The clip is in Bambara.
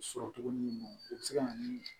Sɔrɔ cogo min i bɛ se ka na ni